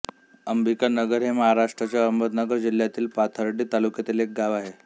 अंबिका नगर हे महाराष्ट्राच्या अहमदनगर जिल्ह्यातील पाथर्डी तालुक्यात एक गाव आहे